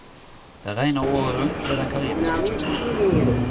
Det regner året rundt ved den karibiske kysten.